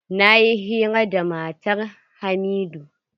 Na yi hira da matar hamidu.